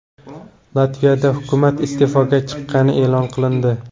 Latviyada hukumat iste’foga chiqqani e’lon qilindi.